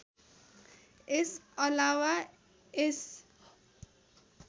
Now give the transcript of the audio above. यस अलावा यस